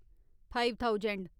five thousand